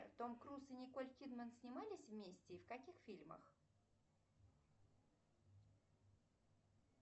том круз и николь кидман снимались вместе и в каких фильмах